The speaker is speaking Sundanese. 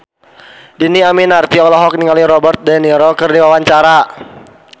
Dhini Aminarti olohok ningali Robert de Niro keur diwawancara